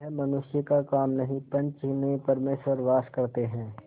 यह मनुष्य का काम नहीं पंच में परमेश्वर वास करते हैं